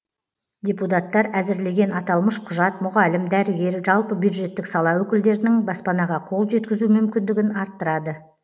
депутаттар әзірлеген аталмыш құжат мұғалім дәрігер жалпы бюджеттік сала өкілдерінің баспанаға қол жеткізу мүмкіндігін арттырады